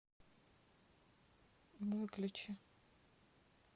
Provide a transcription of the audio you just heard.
выключи